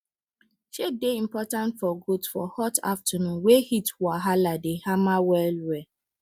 shade dey important for goats for hot afternoon wey heat wahala dey hammer well well